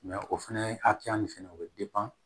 o fɛnɛ ye hakɛya min fɛnɛ o be